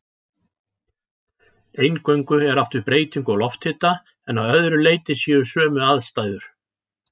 Eingöngu er átt við breytingu á lofthita en að öðru leyti séu sömu aðstæður.